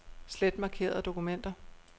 Slet markerede dokumenter.